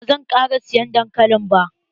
Ba zan ƙara siyan dankali ba.